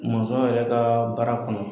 Mɔnzɔn yɛrɛ ka baara kɔnɔ